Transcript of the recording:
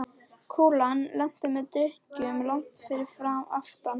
Kúlan lenti með dynkjum langt fyrir aftan fánann.